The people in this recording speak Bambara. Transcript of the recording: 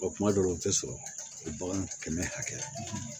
kuma dɔw la u tɛ sɔrɔ o bagan kɛmɛ hakɛya la